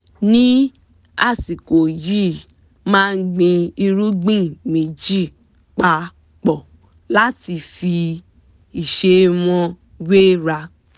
ní àsìkò yìí màá gbin irúgbìn méjì pa pọ̀ láti fi ìṣe wọn wéra